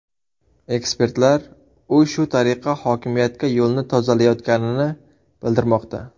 Ekspertlar u shu tariqa hokimiyatga yo‘lni tozalayotganini bildirmoqda.